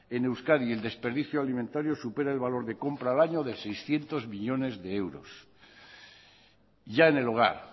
en euskadi el desperdicio alimentario supera el valor de compra al año de seiscientos millónes de euros ya en el hogar